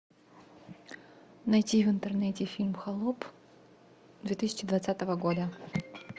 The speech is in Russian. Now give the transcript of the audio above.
найти в интернете фильм холоп две тысячи двадцатого года